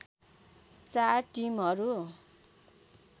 चार टिमहरू